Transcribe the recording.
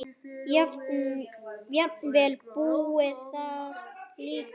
Jafnvel búið þar líka.